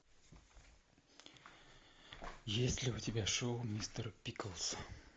есть ли у тебя шоу мистер пиклз